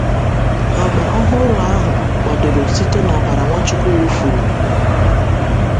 Agba ọhụrụ ahụ kwadoro site n’ọbara Nwachukwu wụfuru.